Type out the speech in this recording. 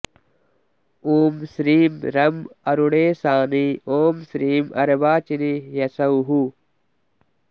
ॐ श्रीं रं अरुणेशानी ॐ श्रीं अर्वाचिनी ह्सौः